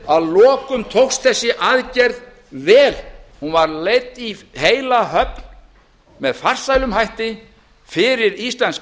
að lokum tókst þessi aðgerð vel hún var leidd í heila höfn með farsælum hætti fyrir íslenska